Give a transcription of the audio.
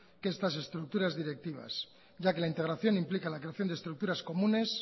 de estas estructuras directivas ya que la integración implica la creación de estructuras comunes